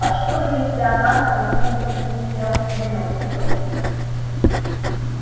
а что если она столкнётся с мистером уилксом